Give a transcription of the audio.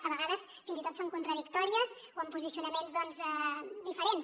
a vegades fins i tot són contradictòries o amb posicionaments diferents